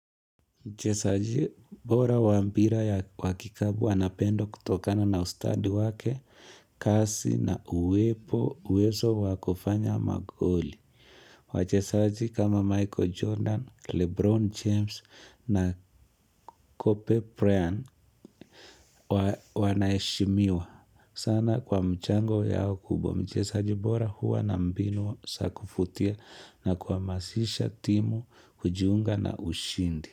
Mchezaji bora wa mpira ya wa kikabu anapendwa kutokana na ustadi wake, kasi na uwepo, uwezo wa kufanya magoli. Wachezaji kama Michael Jordan, Lebron James na Kope Pran wanaheshimiwa sana kwa mchango yao kubwa. Mchezaji bora huwa na mbinu za kuvutia na kuhamasisha timu, kujiunga na ushindi.